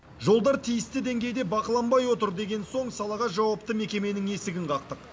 жолдар тиісті деңгейде бақыланбай отыр деген соң салаға жауапты мекеменің есігін қақтық